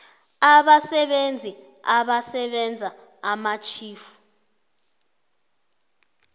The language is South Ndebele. abasebenzi abasebenza amatjhifu